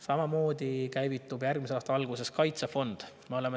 Samamoodi käivitub järgmise aasta alguses kaitsefond.